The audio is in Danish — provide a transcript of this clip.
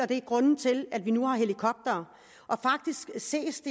det er grunden til at vi nu har helikoptere det ses